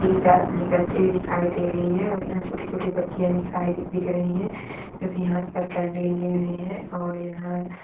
तीजा निकलते हुए दिखाई दे रही है और यहाँ छोटी- छोटी बच्चियाँ दिखाई दे दिख रही हैं जो की हाथ पर कैंडल ली हुई हैं और यहाँ--